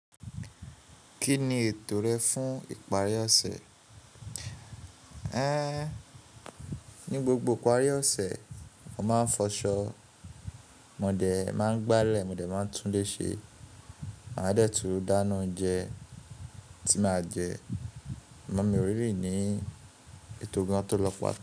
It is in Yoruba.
Kí ni ètò rẹ fún ìparí ọ̀sẹ̀? Ẹ́, ní gbogbo ìparí ọ̀sẹ̀, mo máa ń fọṣọ, mo dé máa ń gbálẹ̀, mo dé máa ń tún léṣe, màá dẹ̀ tu dáná oúnjẹ tí màá jẹ, amọ́ mi ò really ni ètò gan-an tó lọ pá.